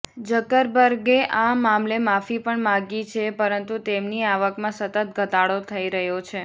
ઝકરબર્ગે આ મામલે માફી પણ માગી છે પરંતુ તેમની આવકમાં સતત ઘટાડો થઈ રહ્યો છે